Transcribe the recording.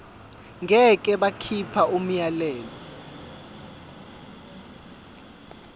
ngeke bakhipha umyalelo